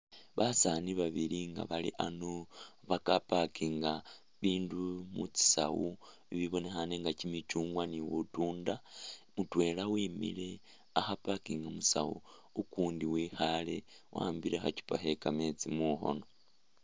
Basani babili nga bali ano ba ka parkinga bi bindu mu tsisawu bi bibonekhane nga kyimichungwa ni butunda, mutwela wimile akho a parkinga musawu ukundi wikhale wa'ambile khachupa khe kametsi mukhone.